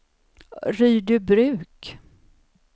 Rydöbruk